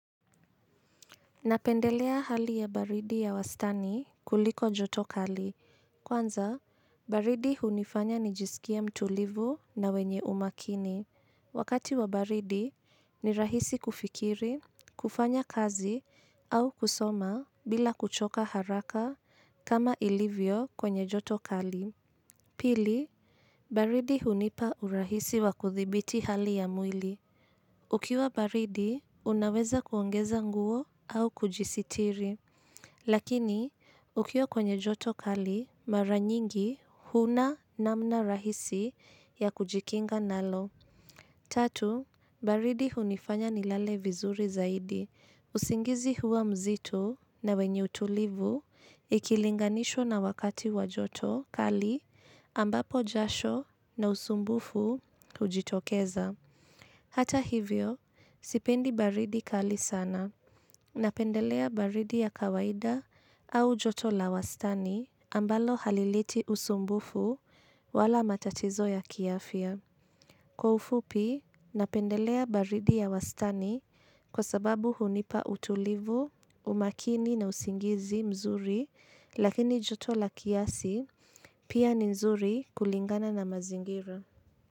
Napendelea hali ya baridi ya wastani kuliko joto kali. Kwanza, baridi hunifanya nijisikie mtulivu na wenye umakini. Wakati wa baridi, ni rahisi kufikiri, kufanya kazi au kusoma bila kuchoka haraka kama ilivyo kwenye joto kali. Pili, baridi hunipa urahisi wa kudhibiti hali ya mwili. Ukiwa baridi, unaweza kuongeza nguo au kujisitiri. Lakini, ukiwa kwenye joto kali, mara nyingi huna namna rahisi ya kujikinga nalo. Tatu, baridi hunifanya nilale vizuri zaidi, usingizi huwa mzito na wenye utulivu ikilinganishwa na wakati wa joto kali ambapo jasho na usumbufu hujitokeza. Hata hivyo, sipendi baridi kali sana, napendelea baridi ya kawaida au joto la wastani ambalo halileti usumbufu wala matatizo ya kiafya. Kwa ufupi, napendelea baridi ya wastani kwa sababu hunipa utulivu, umakini na usingizi mzuri lakini joto la kiasi pia ni nzuri kulingana na mazingira.